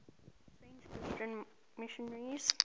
french christian missionaries